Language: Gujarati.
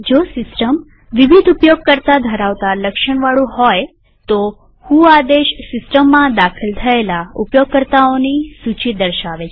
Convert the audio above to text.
જો સીસ્ટમ વિવિધ ઉપયોગકર્તામલ્ટીયુઝર ધરાવતા લક્ષણવાળું હોય તો વ્હો આદેશ સિસ્ટમમાં દાખલ થયેલા ઉપયોગકર્તાઓની સૂચી દર્શાવે છે